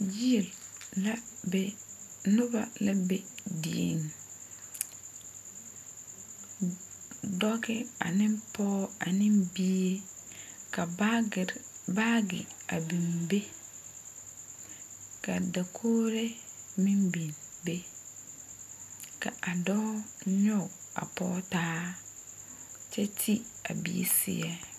Yie la be noba la be dieŋ dɔge ane pɔɔ ane bie ka baagere baage bii be ka dakogri meŋ biŋ be ka a dɔɔ ne o a pɔge taa kyɛ ti a bie seɛ.